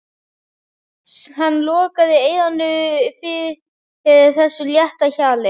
Hann lokaði eyrunum fyrir þessu létta hjali.